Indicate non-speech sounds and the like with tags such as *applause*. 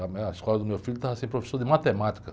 A, *unintelligible* a escola do meu filho estava sem professor de matemática.